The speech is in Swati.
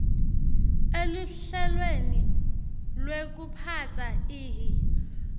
eluhlelweni lwekuphatsa ihi